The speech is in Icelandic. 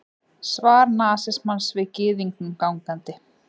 Svar nasismans við gyðingnum gangandi!